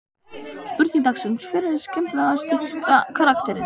Spurning dagsins: Hver er skemmtilegasti karakterinn?